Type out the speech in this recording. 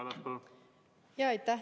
Aitäh!